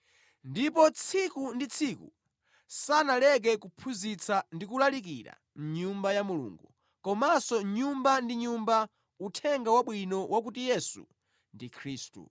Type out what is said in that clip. Ndipo tsiku ndi tsiku, sanaleke kuphunzitsa ndi kulalikira mʼNyumba ya Mulungu komanso nyumba ndi nyumba, Uthenga Wabwino wa kuti Yesu ndi Khristu.